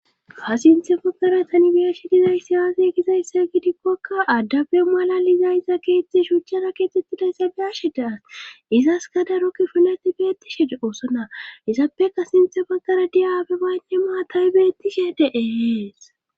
Ha sinthe baggara tan bi'ashe dizaysi aaze gizayssa gidikkokka addape malalizayiza keexetxi shuchchasa keexettiday sa biyashe da'as izaska daro kifileti beettishe doosona izappeka sinthe baggara diyaabe baynne maatay bettishe de'ees